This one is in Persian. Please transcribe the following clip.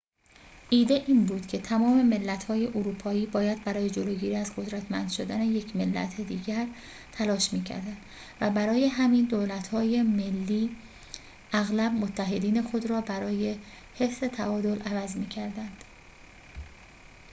ایده این بود که تمام ملت‌های اروپایی باید برای جلوگیری از قدرتمند شدن یک ملت دیگر تلاش می‌کردند و برای همین دولت‌های ملی اغلب متحدین خود را برای حفظ تعادل عوض می‌کردند